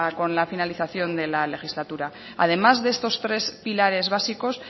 con la finalización de la legislatura además de estos tres pilares básicos